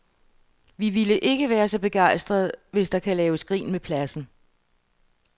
Vi ville ikke være så begejstrede, hvis der kan laves grin med pladsen.